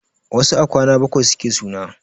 Wasu a kwana bakwai suke suna.